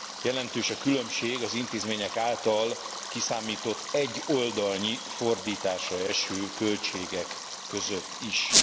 Jelentős a különbség az intézmények által kiszámított egy oldalnyi fordításra eső költségek között is.